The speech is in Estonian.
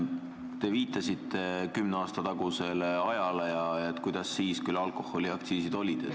Te viitasite kümne aasta tagusele ajale, millised siis alkoholiaktsiisid olid.